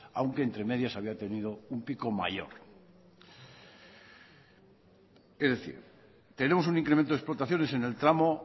aunque entre medias había tenido un pico mayor es decir tenemos un incremento de explotaciones en el tramo